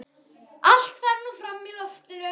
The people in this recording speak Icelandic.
Allt fer nú fram í loftinu.